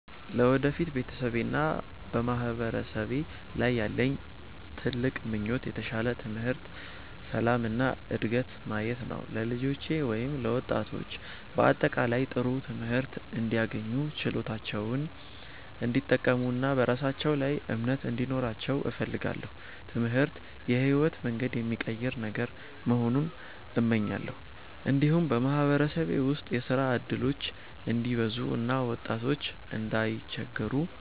ለወደፊት በቤተሰቤና በማህበረሰቤ ላይ ያለኝ ትልቅ ምኞት የተሻለ ትምህርት፣ ሰላም እና ዕድገት ማየት ነው። ለልጆቼ ወይም ለወጣቶች በአጠቃላይ ጥሩ ትምህርት እንዲያገኙ፣ ችሎታቸውን እንዲጠቀሙ እና በራሳቸው ላይ እምነት እንዲኖራቸው እፈልጋለሁ። ትምህርት የሕይወትን መንገድ የሚቀይር ነገር መሆኑን እመኛለሁ። እንዲሁም በማህበረሰቤ ውስጥ የሥራ እድሎች እንዲበዙ እና ወጣቶች እንዳይቸገሩ